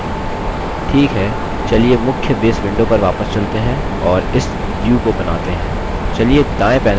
ठीक है मुख्य base window पर वापस चलते हैं और इस view को बनाते हैं